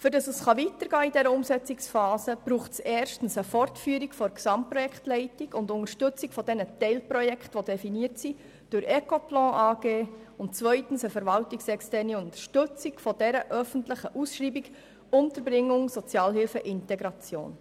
Damit die Umsetzungsphase fortgesetzt werden kann, braucht es erstens eine Fortführung der Gesamtprojektleitung und die Unterstützung der durch die Ecoplan AG definierten Teilprojekte und zweitens eine verwaltungsexterne Unterstützung dieser öffentlichen Ausschreibung «Unterbringung, Sozialhilfe und Integration».